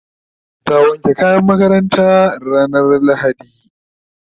ta wanke kayan makarantanta ranar lahadi